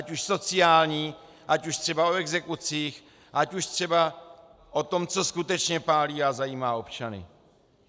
Ať už sociální, ať už třeba o exekucích, ať už třeba o tom, co skutečně pálí a zajímá občany.